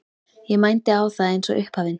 Ég mændi á það eins og upphafinn.